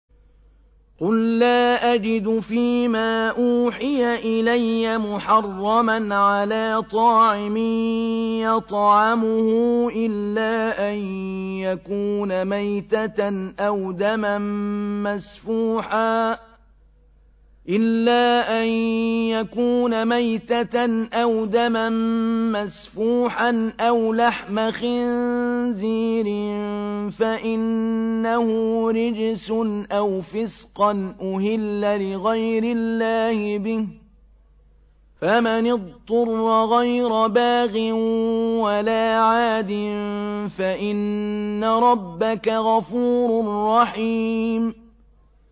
قُل لَّا أَجِدُ فِي مَا أُوحِيَ إِلَيَّ مُحَرَّمًا عَلَىٰ طَاعِمٍ يَطْعَمُهُ إِلَّا أَن يَكُونَ مَيْتَةً أَوْ دَمًا مَّسْفُوحًا أَوْ لَحْمَ خِنزِيرٍ فَإِنَّهُ رِجْسٌ أَوْ فِسْقًا أُهِلَّ لِغَيْرِ اللَّهِ بِهِ ۚ فَمَنِ اضْطُرَّ غَيْرَ بَاغٍ وَلَا عَادٍ فَإِنَّ رَبَّكَ غَفُورٌ رَّحِيمٌ